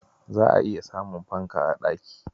Za'a iya samun fanka a ɗaki.